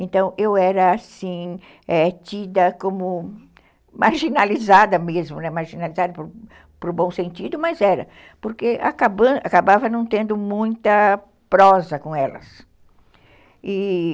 Então eu era assim, é, tida como marginalizada, né, mesmo, marginalizada para o bom sentido, mas era, porque acabava não tendo muita prosa com elas.